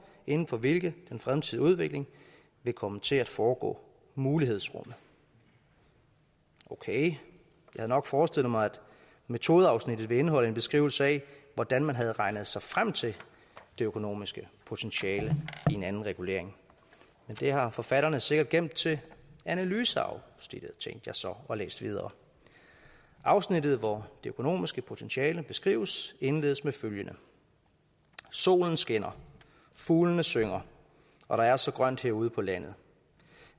inden for hvilket den fremtidige udvikling vil komme til at foregå mulighedsrummet okay jeg havde nok forestillet mig at metodeafsnittet ville indeholde en beskrivelse af hvordan man havde regnet sig frem til det økonomiske potentiale i en anden regulering men det har forfatterne sikkert gemt til analyseafsnittet tænkte jeg så og læste videre afsnittet hvor det økonomiske potentiale beskrives indledes med følgende solen skinner fuglene synger og der er så grønt herude på landet